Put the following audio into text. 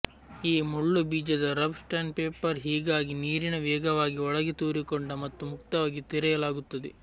ಈ ಮುಳ್ಳು ಬೀಜದ ರಬ್ ಸ್ಯಾಂಡ್ಪೇಪರ್ ಹೀಗಾಗಿ ನೀರಿನ ವೇಗವಾಗಿ ಒಳಗೆ ತೂರಿಕೊಂಡ ಮತ್ತು ಮುಕ್ತವಾಗಿ ತೆರೆಯಲಾಗುತ್ತದೆ